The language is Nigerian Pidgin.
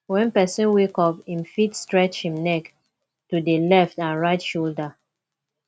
when person wake up im fit stretch im neck to di letf and right shoulder